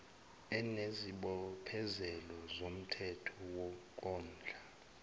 onesibophezelo somthetho sokondla